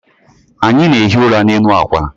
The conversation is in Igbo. Anyị na-ehi ụra n'elu akwa